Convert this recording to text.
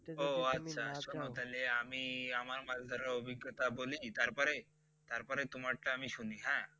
ওহ আচ্ছা শুনো তাইলে আমি আমার মাছ ধরার অভিজ্ঞতা বলি তারপরে, তারপরে তোমার টা আমি শুনি হ্যাঁ?